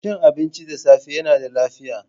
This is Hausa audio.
Cin abinci da safe yana da lafiya.